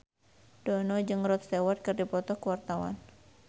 Dono jeung Rod Stewart keur dipoto ku wartawan